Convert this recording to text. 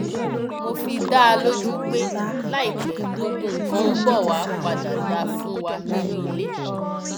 mo fi dá a lójú pé láìpẹ gbogbo nǹkan ń bọ wàá padà dà fún wa nínú ilé